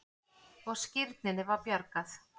Og skírninni var bjargað.